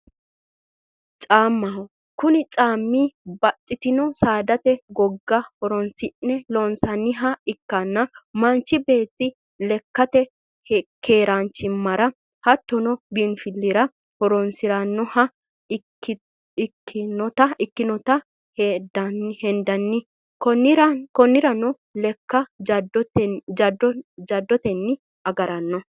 Caamaho, kuni caami baaxitino saadate goga horonsi'ne loonsonniha ikkanna manchi beeti lekkatte keeranchimara hattonno biinfilira horonsirannoha ikkinnotta hendanni konirano lekka jadottenni agarano